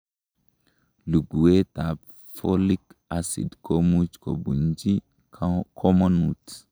Luguetab folic acid komuch kobunji komonut.